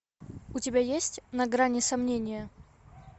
у тебя есть на грани сомнения